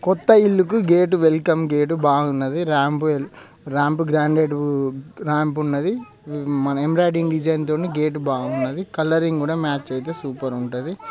కొత్త ఇల్లు కు గేటు వెల్కమ్ గేటు బాగున్నది రాంప్ రాంప్ గ్రానైట్ -ఉ రాంప్ ఉన్నది మన ఎంబ్రాయిడింగ్ డిజైన్ తోటి గేటు బాగున్నది కలరింగ్ కూడ మ్యాచ్ అయితే సూపర్ ఉంటది.